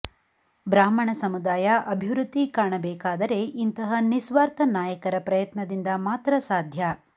ಬ್ರಾಹ್ಮಣ ಸಮುದಾಯ ಅಭಿವೃದ್ಧಿ ಕಾಣಬೇಕಾದರೆ ಇಂತಹ ನಿಸ್ವಾರ್ಥ ನಾಯಕರ ಪ್ರಯತ್ನದಿಂದ ಮಾತ್ರ ಸಾಧ್ಯ